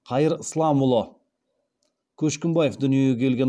қайырсламұлы көшкімбаев дүниеге келген